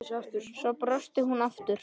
Svo brosti hún aftur.